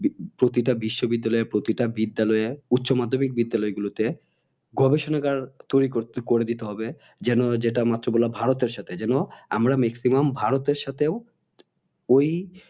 প্রতিটা বিশ্ব বিদ্যালয়ে প্রতিটা বিদ্যালয়ে উচ্চ মাধমিক বিদ্যালয়ে গুলোতে গবেষণাগার তৈরী করে দিতে হবে যেন যেটা মাত্র ভারতের সাথে যেন আমরা maximum ভারতের সাথেও ওই